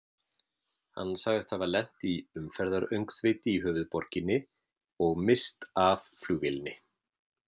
Hann sagðist hafa lent í umferðaröngþveiti í höfuðborginni og misst af flugvélinni.